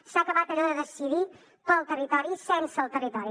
s’ha acabat allò de decidir pel territori sense el territori